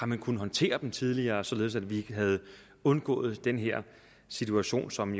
man kunnet håndtere det tidligere således at vi havde undgået den her situation som